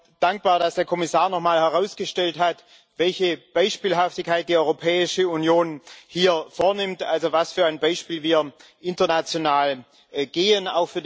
Ich bin auch dankbar, dass der Kommissar noch mal herausgestellt hat, welche Beispielhaftigkeit die Europäische Union hier vornimmt, also was für ein Beispiel wir international geben.